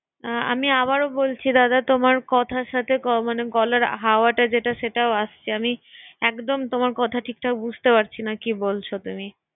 এ্যা আমি আবার ও বলছি দাদা তোমারে কথার সাথে গ মানে গলার হাওয়াটা যেটা সেটাও আসছে আমি একদম তোমার কথা ঠিক ঠিক বুঝতে পারছি না, কি বলছ তুমি?